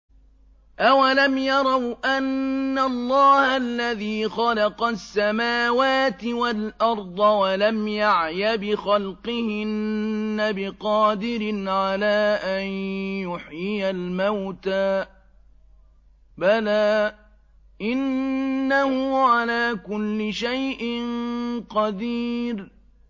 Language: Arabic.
أَوَلَمْ يَرَوْا أَنَّ اللَّهَ الَّذِي خَلَقَ السَّمَاوَاتِ وَالْأَرْضَ وَلَمْ يَعْيَ بِخَلْقِهِنَّ بِقَادِرٍ عَلَىٰ أَن يُحْيِيَ الْمَوْتَىٰ ۚ بَلَىٰ إِنَّهُ عَلَىٰ كُلِّ شَيْءٍ قَدِيرٌ